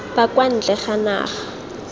ba kwa ntle ga naga